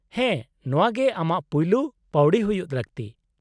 -ᱦᱮᱸ ᱱᱚᱶᱟ ᱜᱮ ᱟᱢᱟᱜ ᱯᱩᱭᱞᱩ ᱯᱟᱹᱣᱲᱤ ᱦᱩᱭᱩᱜ ᱞᱟᱹᱠᱛᱤ ᱾